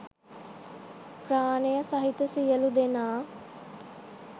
ප්‍රාණය සහිත සියලු දෙනා